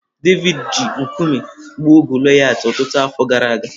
Devid ji nkume gbuo Golayat ọtụtụ afọ gara aga.